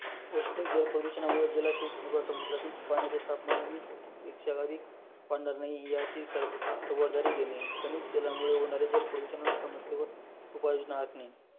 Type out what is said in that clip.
औष्जणिक जल प्रदूषणामुळे जलाशय किंवा समुद्रातील पाण्याचे तापमान वीस पेक्षा अधिक नाही, याची खबरदारी घेणे, खनिज जालामुळे होणारे जल प्रदूषण समस्येवर उपाययोजना असणे